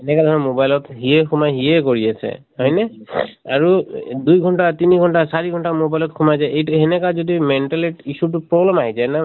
এনেকা ধৰা mobile ত সিয়ে সোমাই সিয়ে কৰি আছে। হয় নে? আৰু দুই ঘন্টা, তিনি ঘন্টা, চাৰি ঘন্টা mobile ত সোমাই যায়, এইটো হেনেকা যদি mental এত issue টো problem আহি যায় ন